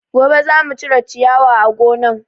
Gobe zamu cire ciyawa a gonan